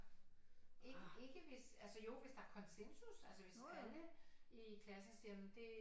Ikke hvis altså jo hvis der er konsensus altså hvis alle i klassen siger det